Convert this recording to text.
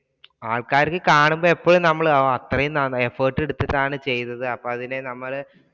ആൾക്കാരിൽ കാണുമ്പോൾ എപ്പഴും നമ്മൾ അത്രയും effort എടുത്തിട്ടാണ് ചെയ്യുന്നത്. അപ്പൊ അതിനെ നമ്മള്